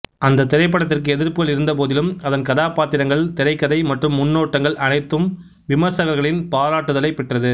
அந்தத் திரைப்படத்திற்கு எதிர்ப்புகள் இருந்தபோதிலும் அதன் கதாப்பாத்திரங்கள் திரைக்கதை மற்றும் முன்னோட்டங்கள் அனைத்தும் விமர்சகர்களின் பாராட்டுதலைப் பெற்றது